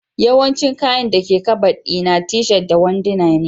Yawancin kayan dake Kabad di na t-shirt da wanduna